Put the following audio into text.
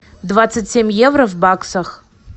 двадцать семь евро в баксах